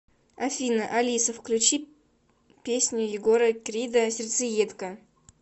афина алиса включи песню егора крида сердцеедка